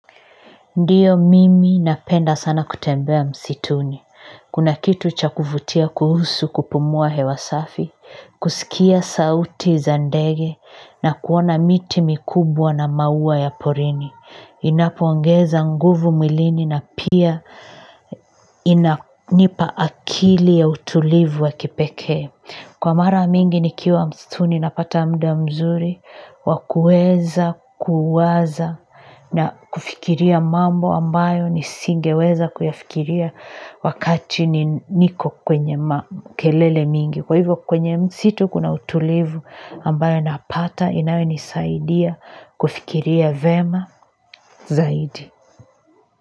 Ndiyo mimi napenda sana kutembea msituni. Kuna kitu cha kuvutia kuhusu kupumua hewa safi, kusikia sauti za dege na kuona miti mikubwa na maua ya porini. Inapoongeza nguvu mwilini na pia inanipa akili ya utulivu wa kipekee. Kwa mara mingi nikiwa msituni napata muda mzuri, wakuweza kuwaza na kufikiria mambo ambayo nisingeweza kuyafikiria wakati niko kwenye makelele mingi. Kwa hivyo kwenye msitu kuna utulivu ambayo napata inayonisaidia kufikiria yema zaidi.